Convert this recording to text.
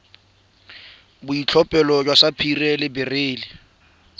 boitlhophelo jwa sapphire le beryl